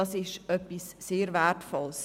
Es ist etwas sehr Wertvolles.